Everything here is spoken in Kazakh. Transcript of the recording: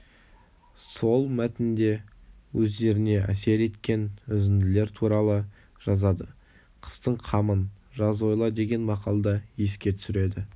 сол мәтінде өздеріне әсер еткен үзінділер туралы жазады қыстың қамын жаз ойла деген мақалды еске түсіреді